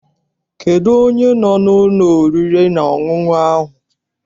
Kedụ onye no n'ụlọ oriri na ọṅụṅụ ahụ?